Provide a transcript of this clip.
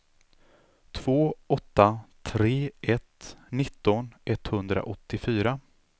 två åtta tre ett nitton etthundraåttiofyra